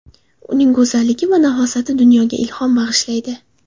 Uning go‘zalligi va nafosati dunyoga ilhom bag‘ishlaydi.